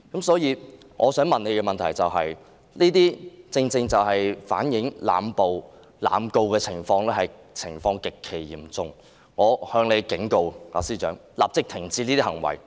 所以，上述種種正正反映濫捕、濫告的情況極其嚴重，我警告司長，立即停止這些行為。